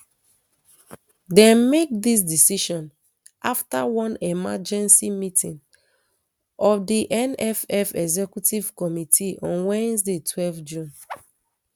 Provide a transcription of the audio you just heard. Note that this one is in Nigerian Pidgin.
dem make dis decision afta one emergency meeting of di nff executive committee on wednesday twelve june